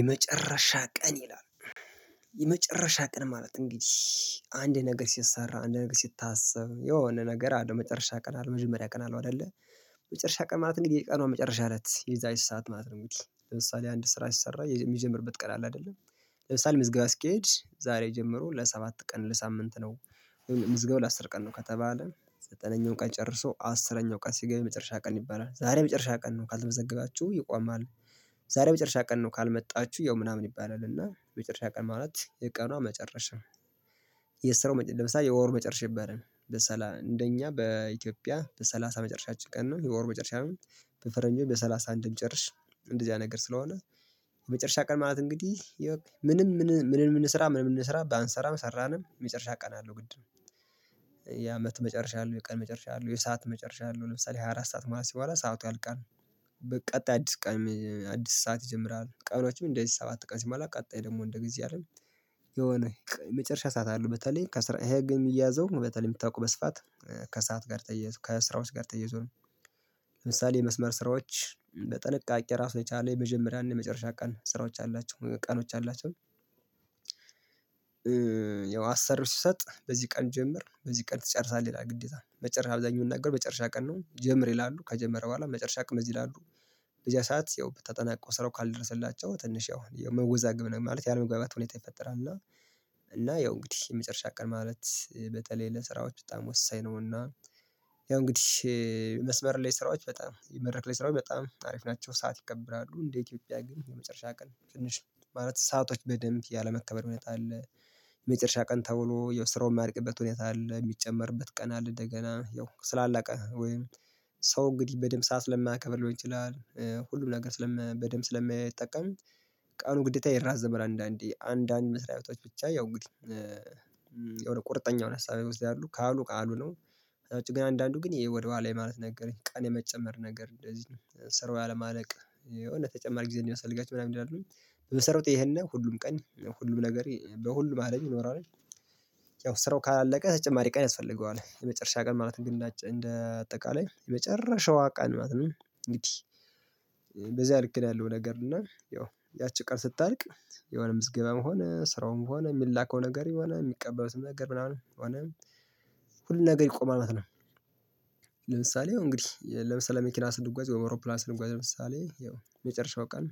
የመጨረሻ ቀን ይላል። የመጨረሻ ቀን ማለት እንግዲህ አንድ ነገር ሲሰራ አንድ ነገር ሲታሰብ የሆነ ነገር አለው መጨረሻ ቀን አለው መጀመሪያ ቀን ነው አይደለ። መጨረሻ ቀና ማለት እንዴ የቀኑ መጨረሻ አለት የዛች ሰዓት ማለት ነው ውጪ ለምሳሌ አንድ ስራ ሲሰራ የሚጀምርበት ቀን አለ አይደለም። ለምሳሌ ምዝገብ ስኬጅ ዛሬ ጀምሮ ለሰባት ቀን ለሳምንት ነው። ምዝገባ ለአስር ቀን ነው ከተባለ ዘጠነኛው ቀን ጨርሶ አስረኛው ቀን ሲገባ መጨረሻ ቀን ይባላል ዛሬ መጨረሻ ቀን ነው ካልተመዘገባችሁ ይቆማሉ። ዛሬ መጨረሻ ቀን ነው ካልመጣችሁ ያው ምናምን ይባላል እና መጨረሻ ቀን ማለት የቀኗ መጨረሻ። የስራው መጨረሻ የወር መጨረሻ ይባላል ለሰላም እንደኛ በኢትዮጵያ በሰላሳ መጨረሻችን ቀን ነው የወር መጨረሻ አመት። በፈረንጆች በሰላሳ አንድ እንደዚህ አይነት ነገር ስለሆነ። የመጨረሻ ቀን ማለት እንግዲህ ምንም ምንም ምንም የምንሰራ ምንም የምንሰራ ባንሰራም ሰራንን የመጨረሻ ቀን አለው ግድ ነው። የአመት መጨረሻ አለው የቀን መጨረሻ አለው የሰዓት መጨረሻ አለው ለምሳሌ ሃያአራት ሰዓት ማለት ሲሞላ ሰዓቱ ያልቃል። በቀጣይ አዲስ ቀን አዲስ ሰዓት ይጀምራል ቀኖችም እንደዚህ ሰባት ቀን ሲማላ ደግሞ እንደ ጊዜ አይደል። የሆነ የመጨረሻ ሰዓት አለ በተለይ ከስራ የሚያዘው በተለይ የምታውቁ በስፋት ከሰአት ጋር ተያይዞ ከስራዎች ጋር ተያይዞ ነው። ለምሳሌ የመስመር ስራዎች በጥንቃቄ ራሱ ላይ የቻለው የመጀመሪያና የመጨረሻ ቀን ስራዎች አላቸው ቀኖች አላቸው። ያው አሰሪው ሲሰጥ በዚህ ቀን ጀምር በዚህ ቀን ትጨርሳለህ ይላል ግዴታ መጨረሻ አብዛኛው የምንናገረው መጨረሻ ቀን ነው ጀምር ይላሉ ከጀመረ በኋላ መጨረሻ ቀን እዚህ ይላሉ። በዚያ ሰዓት ያው ተጠናቆ ስራው ካልደረሰላቸው ትንሽ ያው መወዛግብ ነው ማለት ያለመግባቢያ ሁኔታ ይፈጠራል እና። እና ያው እንግዲህ የመጨረሻ ቀን ማለት በተለይ ለስራዎች በጣም ወሳኝ ነውና። ያው እንግዲህ የመስመር ላይ ስራዎች በጣም የመድረክ ላይ ስራው በጣም ታሪፍ ናቸው ሰዓት ይቀብራሉ እንደ ኢትዮጵያ ግን የመጨረሻ ቀን ትንሽ ማለት ሰአቶች በደንብ ያለመከበር ሁኔታ አለ። የመጨረሻ ቀን ተውሎ የስራውን የማያልቅበት ሁኔታ አለ የሚጨመርበት ቀን አለ እንደገና ያው ስላላቀ ወይም ሰው እንግዲህ በደንብ ሰዓት ለማያከብልህ ይችላል ሁሉም ነገር ስለም በደንብ ስለማይጠቀም። ቀኑ ግዴታ ይራዘማል አንዳንዴ አንዳንድ መስሪያ ህይወቶች ብቻ ያው ግዴታ የሆነ ቁርጠኛ የሆነ ሀሳብ ይወስዳሉ ካሉ ካሉ ነው። ውጪ ግን አንዳንዱ ግን ይሄ ወደ ኋላ ማለት ነገረኝ ቀን የመጨመር ነገር እንደዚህ ነው ሰርቫይ አለማለቅ የሆነ ተጨማሪ ጊዜ እንደሚያስፈልጋቸው ምናምን ይላሉ። በመሰረቱ ይሄን ነው ሁሉም ቀን ሁሉም ነገር በሁሉም አለኝ ኖራለኝ። ያው ስራው ካላለቀ ተጨማሪ ቀን ያስፈልገዋል የመጨረሻ ቀን ማለት እንደ አጠቃላይ የመጨረሻዋ ቀን ማለት ነው። እንግዲህ በዚያ ልክ ነው ያለው ነገር እና ያቺ ቀን ስታልቅ የሆነ ምዝገባምሆነ ስራውም ሆነ የሚላከው ነገር የሚቀበሉትም ነገር ምናምን ሆነ ሁሉን ነገር ይቆማል ማለት ነው። ለምሳሌ እንግዲህ ለምሳሌ መኪና ስንጓዝ ወይ አውሮፕላን ስንጓዝ ለምሳሌ ያው የመጨረሻው ቀን።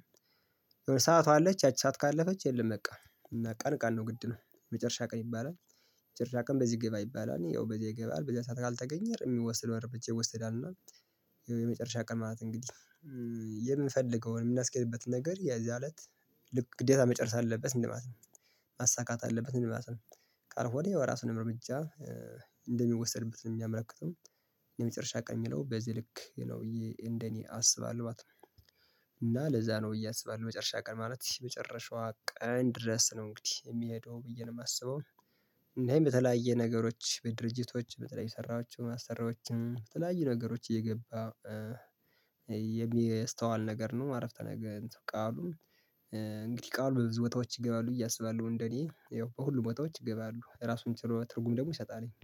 የሆነ ሰዓቱ አለች ያቺ ሰዓት ካለፈች የለም በቃ እና ቀን ቀን ነው ግድ ነው መጨረሻ ቀን ይባላል። መጨረሻ ቀን በዚህ ግባ ይባላል እኔ ያው በዚህ ይገባል በዚህ ሰዓት ካልተገኘ የሚወሰደው እርምጃ ይወስዳል እና። የመጨረሻ ቀን ማለት እንግዲህ የምፈልገውን የምናስቀይርበት ነገር የዛለት ልክ ግዴታ መጨረስ አለበት እንደማለት ነው። ማሳካት አለበት እንደማለት ነው ቃል ሆነ የራሱን እርምጃ እንደሚወሰድበት ነው የሚያመለክተው። የመጨረሻ ቀን ነው በዚህ ልክ ነው እንደኔ አስባለሁ ባትመጣ እና ለዛ ነው አስባለሁ መጨረሻ ቀን ማለት መጨረሻዋ ቀን ድረስ ነው እንግዲህ የሚሄደው ብዬ ነው የማስበው። እና ይሄ በተለያየ ነገሮች በድርጅቶች በተለይ ሰራዎችም አሰራዎችም በተለያዩ ነገሮች እየገባ የሚስተዋል ነገር ነው አረፍተ ነገር እንትን ቃሉ። እንግዲህ ቃሉ በብዙ ቦታዎች ይገባሉ ብዬ አስባለሁ እንደኔ ያው በሁሉም ቦታዎች ይገባሉ ራሱን ችሎ ትርጉም ደግሞ ይሰጣልኝ